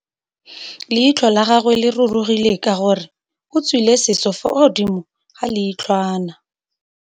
Leitlhô la gagwe le rurugile ka gore o tswile sisô fa godimo ga leitlhwana.